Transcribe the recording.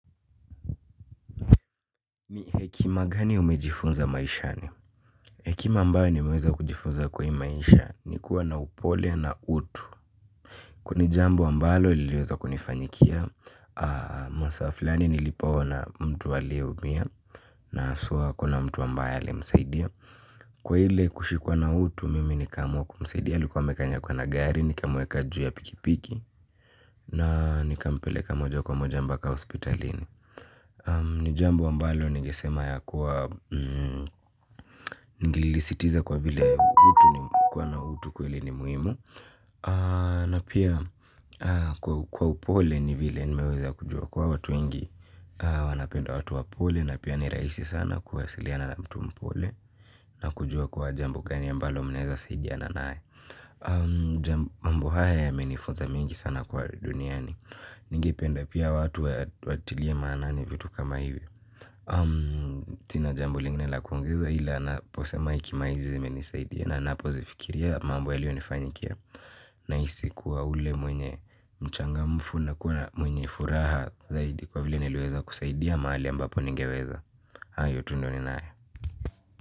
Ni hekima gani umejifunza maishani? Hekima ambayo nimeweza kujifunza kwa hii maisha ni kuwa na upole na utu. Kwani jambo ambalo liliweza kunifanyikia. Masaa fulani nilipoona mtu aliumia na haswa akuna mtu ambaye alimsaidia. Kwa ile kushikwa na utu mimi nikaamua kumsaidia. Alikuwa amekanyagwa na gari nikamweka juu ya pikipiki na nikampeleka moja kwa moja mbaka hospitalini. Ni jambo ambalo ningesema ya kuwa. Ningelisisitiza kwa vile mtu kuwa na utu kweli ni muhimu. Na pia kwa upole ni vile nimeweza kujua kwa watu wengi. Wanapenda watu wapole na pia ni rahisi sana kuwasiliana na mtu mpole. Na kujua kuwa jambo gani ambalo mnaeza saidiana nae. Mambo haya yamenifunza mengi sana kwa duniani. Ningependa pia watu watilie maanani vitu kama hivi. Sina jambo lingine la kuongeza ila naposema hekima hizi zimenisaidia na napo zifikiria mambo yaliyo nifanyikia. Na hisi kuwa ule mwenye mchanga mfu na kuwa mwenye furaha zaidi kwa vile niliweza kusaidia mahali ambapo ningeweza. Hayo tu ndo ni nae.